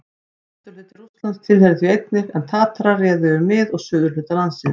Vesturhluti Rússlands tilheyrði því einnig, en Tatarar réðu yfir mið- og suðurhluta landsins.